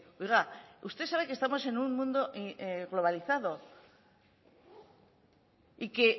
oiga usted sabe que estamos en un mundo globalizado y que